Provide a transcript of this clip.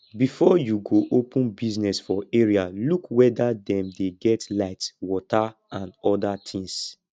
before you go open business for area look weda dem dey get light water and oda things